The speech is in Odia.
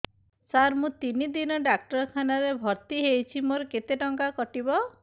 ସାର ମୁ ତିନି ଦିନ ଡାକ୍ତରଖାନା ରେ ଭର୍ତି ହେଇଛି ମୋର କେତେ ଟଙ୍କା କଟିବ